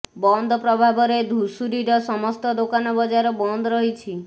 ବନ୍ଦ ପ୍ରଭାବରେ ଧୁଷୁରୀର ସମସ୍ତ ଦୋକାନ ବଜାର ବନ୍ଦ ରହିଛି